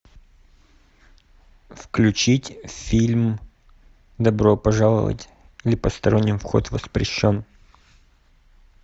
включить фильм добро пожаловать или посторонним вход воспрещен